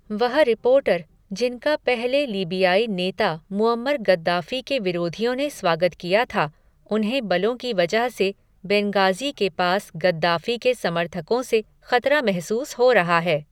वह रिपोर्टर जिनका पहले लीबियाई नेता मुअम्मर गद्दाफ़ी के विरोधियों ने स्वागत किया था, उन्हें बलों की वजह से बेन्गाज़ी के पास गद्दाफ़ी के समर्थकों से खतरा महसूस हो रहा है।